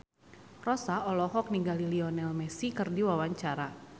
Rossa olohok ningali Lionel Messi keur diwawancara